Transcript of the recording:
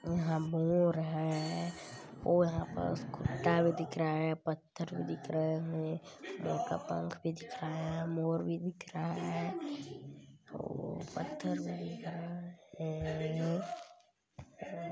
इहा मोर है और यहाँ पस कुटा भी दिख रहा है पत्थर भी दिख रहे है मोर का पंख भी दिख रहा है मोर भी दिख रहा है औ पत्थर भी है।